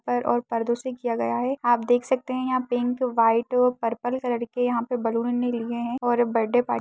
पर और पर्दो से किया गया है आप देख सकते हैं यहाँ पिंक व्हाइट पर्पल कलर के यहाँ पे (पर) बैलून लिए है और बर्थडे पार्टी --